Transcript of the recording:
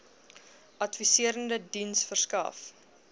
adviserende diens verskaf